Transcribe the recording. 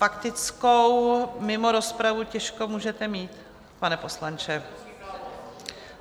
Faktickou mimo rozpravu těžko můžete mít, pane poslanče.